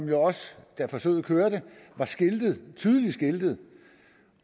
jo også da forsøget kørte tydeligt skiltet